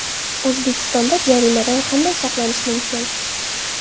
O‘zbekistonda jaziramadan qanday saqlanish mumkin?.